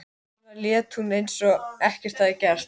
Hvers vegna lét hún eins og ekkert hefði gerst?